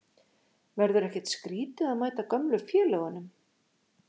Verður ekkert skrítið að mæta gömlu félögunum?